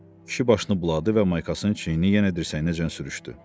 Kişi başını buladı və maykasının çiyini yenə dirsəyinəcən sürüşdü.